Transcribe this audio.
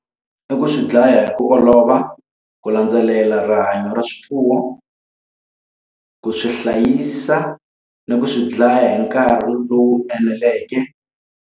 I ku swi dlaya hi ku olova, ku landzelela rihanyo ra swifuwo, ku swi hlayisa ni ku swi dlaya hi nkarhi lowu eneleke.